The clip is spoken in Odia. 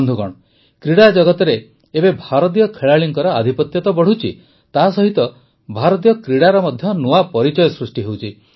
ବନ୍ଧୁଗଣ କ୍ରୀଡ଼ାଜଗତରେ ଏବେ ଭାରତୀୟ ଖେଳାଳିଙ୍କର ଆଧିପତ୍ୟ ତ ବଢ଼ୁଛି ତାସହିତ ଭାରତୀୟ କ୍ରୀଡ଼ାର ମଧ୍ୟ ନୂଆ ପରିଚୟ ସୃଷ୍ଟି ହେଉଛି